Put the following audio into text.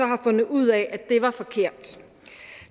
har fundet ud af at det var forkert